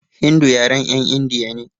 Hindu yaren 'yan indiya ne.